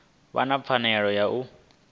vha na pfanelo ya u